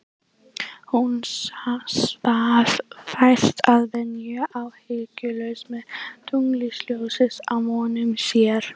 Hún svaf vært að venju, áhyggjulaus, með tunglsljósið á vöngum sér.